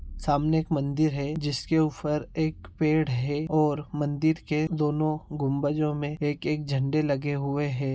सामने एक मंदिर है जिसके ऊपर एक पेड़ है और मंदिर के दोनों गगुंबजो में एक-एक झंडे लगे हुए हैं।